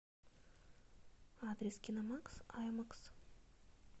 адрес киномакс аймакс